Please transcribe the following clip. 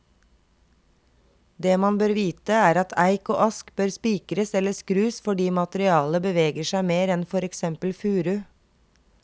Det man bør vite, er at eik og ask bør spikres eller skrus fordi materialet beveger seg mer enn for eksempel furu.